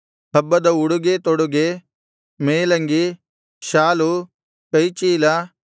ಹಬ್ಬದ ಉಡುಗೆತೊಡುಗೆ ಮೇಲಂಗಿ ಶಾಲು ಕೈಚೀಲ